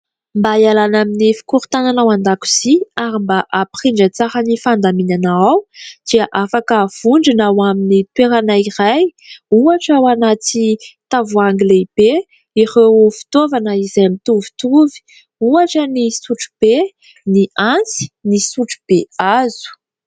Mba ialana amin'ny fikorontanana ao an-dakozia ary mba hampirindra tsara ny fandaminana ao dia afaka havondrona ao amin'ny toerana iray ; ohatra ao anaty tavoahangy lehibe ireo fitaovana izay mitovitovy ; ohatra ny sotrobe, ny antsy ny sotrobe hazo.